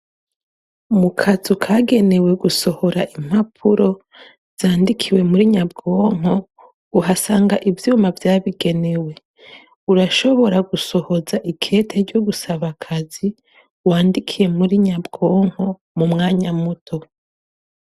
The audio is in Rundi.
mu kazu kagenewe gusohora impapuro zandikiwe muri nyabwonko uhasanga ibyuma vyabigenewe urashobora gusohoza ikete ryo gusaba akazi wandikiye muri nyabwonko mu mwanya muto